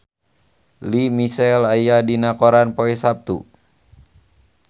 Lea Michele aya dina koran poe Saptu